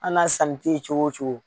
Anna sanni tɛ cogo o cogo.